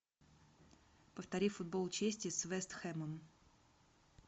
повтори футбол челси с вест хэмом